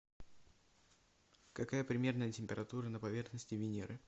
какая примерная температура на поверхности венеры